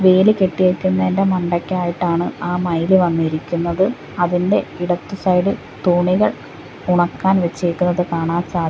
വേലി കെട്ടിയേക്കുന്നതിന്റെ മണ്ടക്കായിട്ടാണ് ആ മയിൽ വന്നിരിക്കുന്നത് അതിന്റെ ഇടത്ത് സൈഡ് തുണികൾ ഉണക്കാൻ വെച്ചേക്കുന്നത് കാണാൻ സാധി --